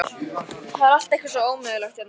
Það er allt eitthvað svo ómögulegt hérna.